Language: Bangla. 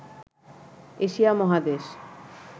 এশিয়া মহাদেশ